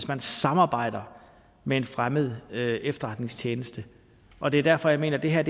man samarbejder med en fremmed efterretningstjeneste og det er derfor jeg mener at det her